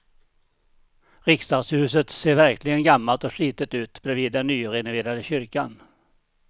Riksdagshuset ser verkligen gammalt och slitet ut bredvid den nyrenoverade kyrkan.